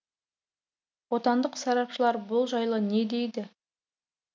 отандық сарапшылар бұл жайлы не дейді